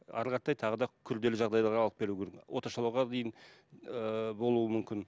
әрі қаратай тағы да күрделі жағдайларға алып келуі дейін ііі болуы мүмкін